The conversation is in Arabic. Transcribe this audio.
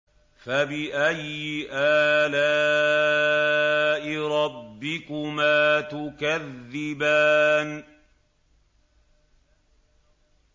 فَبِأَيِّ آلَاءِ رَبِّكُمَا تُكَذِّبَانِ